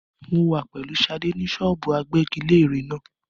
Mo wà pẹ̀lú Sadé ni ṣọ́ọ́bù agbẹ́giléèrè náà.